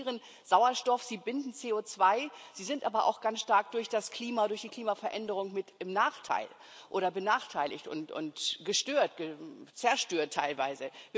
Sie produzieren Sauerstoff, sie binden CO2, sie sind aber auch ganz stark durch das Klima, durch die Klimaveränderung mit im Nachteil oder benachteiligt und gestört, zerstört teilweise.